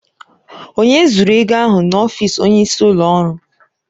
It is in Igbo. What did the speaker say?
Onye zuru ego ahụ n'ọfịs onyeisi ụlọ ọrụ?